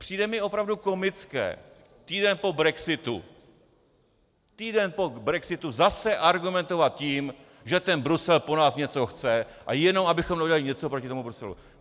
Přijde mi opravdu komické týden po brexitu, týden po brexitu zase argumentovat tím, že ten Brusel po nás něco chce a jenom abychom neudělali něco proti tomu Bruselu.